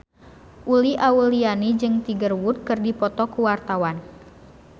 Uli Auliani jeung Tiger Wood keur dipoto ku wartawan